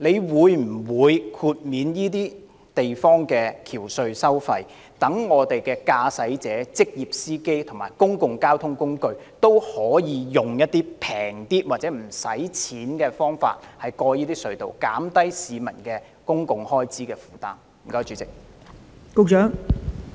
他會否豁免該等地區的橋隧收費，讓駕駛者、職業司機及公共交通工具可以較便宜的費用甚或免費使用隧道，從而減輕市民的交通開支負擔呢？